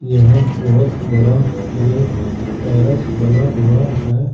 यहां बहोत बड़ा ये पैरस बना हुआ है।